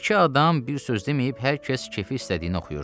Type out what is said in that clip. İki adam bir söz deməyib hər kəs keyfi istədiyini oxuyurdu.